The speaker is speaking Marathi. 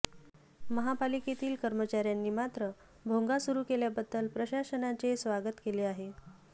महापालिकेतील कर्मचाऱ्यांनी मात्र भोंगा सुरू केल्याबद्दल प्रशासनाचे स्वागत केले आहे